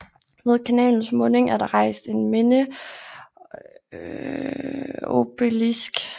Ved kanalens munding er der rejst en mindeeobelisk